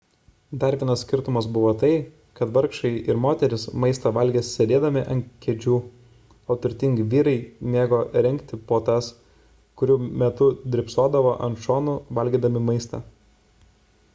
dar vienas skirtumas buvo tai kad vargšai ir moterys maistą valgė sėdėdami ant kėdžių o turtingi vyrai mėgo rengti puotas kurių metu drybsodavo ant šonų valgydami maistą